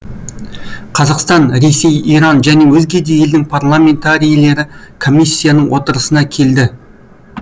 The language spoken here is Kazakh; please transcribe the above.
қазақстан ресей иран және өзге де елдің парламентарийлері комиссияның отырысына келді